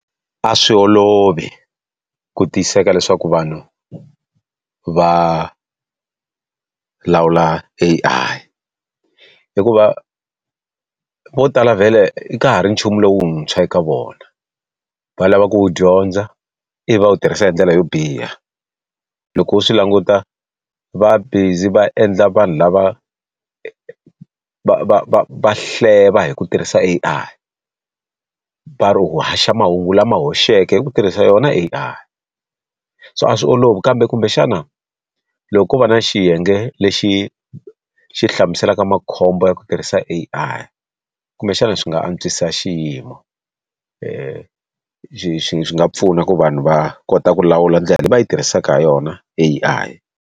A swi olovi ku tiyiseka leswaku vanhu va lawula A_I. hikuva vo tala vhele ka ha ri nchumu lowuntshwa eka vona. Va lava ku wu dyondza, ivi va u tirhisa hi ndlela yo biha. Loko u swi languta va busy va endla vanhu lava va va va va hleva hi ku tirhisa A_I, va ri u haxa mahungu lama hoxeke hi ku tirhisa yona A_I. So a swi olovi kambe kumbexana, loko ko va na xiyenge lexi xi hlamuselaka makhombo ya ku tirhisa kha A_I kumbexana swi nga antswisa xiyimo. Swi nga pfuna ku vanhu va kota ku lawula ndlela leyi va yi tirhisaka ha yona A_I.